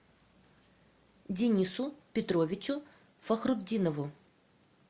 денису петровичу фахрутдинову